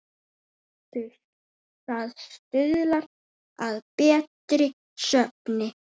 Það stuðlar að betri svefni.